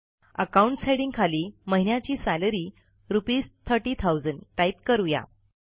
accounts हेडिंगखाली महिन्याची salary रू३०००० टाईप करू या